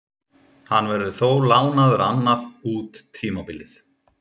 Hann verður þó lánaður annað út tímabilið.